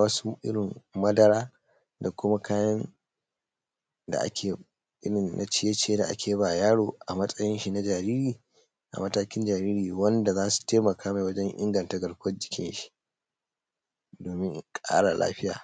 wasu irrin madara da kuma kaya na ciye ciye da ake ba yaro a matsayin shin na jariri a matakin jariri wanda zasu taimakamai wajen inganta garkuwan jikinshi domin kara lafiya